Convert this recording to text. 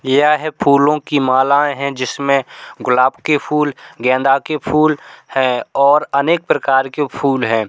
यह फूलों की मालाएं हैं जिसमें गुलाब के फूल गेंदा के फूल हैं और अनेक प्रकार के फूल हैं।